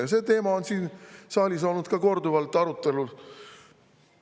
Ja see teema on siin saalis olnud korduvalt arutelu all.